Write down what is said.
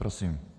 Prosím.